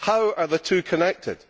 How are the two connected?